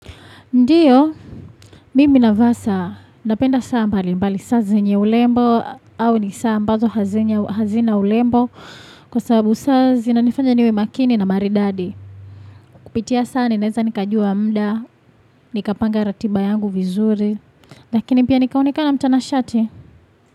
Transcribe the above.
Ndiyo, mimi navaa saa napenda saa mbali mbali saa zenye urembo au ni saa ambazo hazina urembo kwa sababu saa zinanifanya niwe makini na maridadi. Kupitia saa ninaweza nikajua muda, nikapanga ratiba yangu vizuri, lakini pia nikaonekanamtanashati.